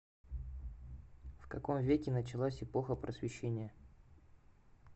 в каком веке началась эпоха просвещения